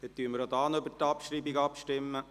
Wir stimmen auch hier über die Abschreibung ab.